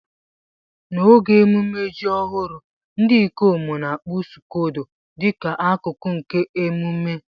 N'oge ememme ji ọhụrụ, ndị ikom n'akpu scodo dị ka akụkụ nke ememe.